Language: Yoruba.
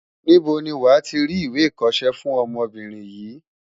Níbo ni wàá ti rí ìwé ìkọṣẹ́ fún ọmọbìnrin yìí?